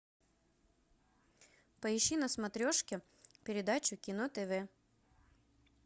поищи на смотрешке передачу кино тв